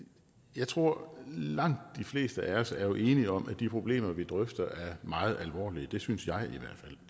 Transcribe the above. jeg tror langt de fleste af os jo er enige om at de problemer vi drøfter er meget alvorlige det synes jeg